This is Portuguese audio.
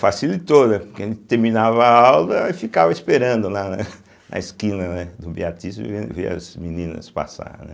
Facilitou, né, porque a gente terminava a aula e ficava esperando lá né na esquina, né do Beatíssima ver as meninas passarem, né.